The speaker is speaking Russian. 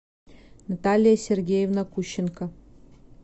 наталья сергеевна кущенко